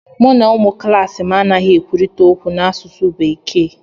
Mụ na ụmụ klaasị m anaghị ekwurịta okwu n'asụsụ bekee